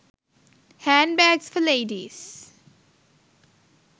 handbags for ladies